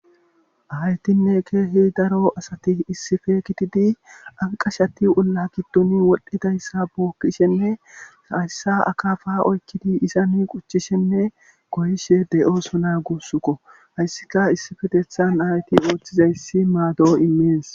aytinne keehi daro asati issife kitidi aqashati ulla giddoni wodhdhedayssa bookkishenne hayssa akaafa oykkidi izani quchchishenne goyishe de7oosona guussuko hayssika issifetethan ayti ooththizayssi maado immees